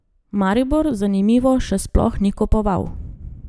Maribor, zanimivo, še sploh ni kupoval.